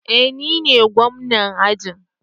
Eh nine gwamna ajin